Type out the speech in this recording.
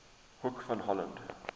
hoek van holland